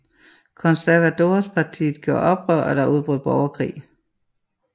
Conservadorespartiet gjorde oprør og der udbrød borgerkrig